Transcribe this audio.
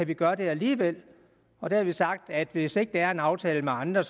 kan gøre det alligevel og der har vi sagt at hvis ikke der er en aftale med andre